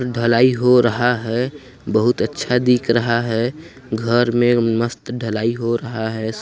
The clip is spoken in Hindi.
ढलाई हो रहा है बहुत अच्छा दिख रहा हैं घर में मस्त ढ़लाई हो रहा है ।